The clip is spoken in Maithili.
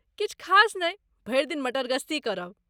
किछु खास नहि, भरि दिन मटरगश्ती करब।